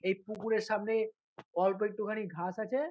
এই পুকুরের সামনে অল্প একটুখানি ঘাস আছে।